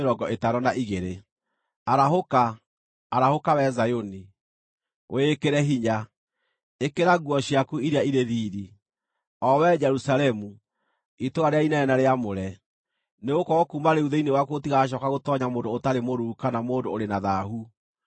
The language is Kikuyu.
Arahũka, arahũka, wee Zayuni, wĩĩkĩre hinya. Ĩkĩra nguo ciaku iria irĩ riiri, o wee Jerusalemu, itũũra rĩrĩa inene na rĩamũre. Nĩgũkorwo kuuma rĩu thĩinĩ waku gũtigacooka gũtoonya mũndũ ũtarĩ mũruu kana mũndũ ũrĩ na thaahu.